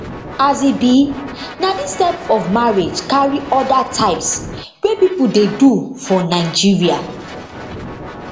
as e be na dis type of marriage carry oda types wey pipo dey do for nigeria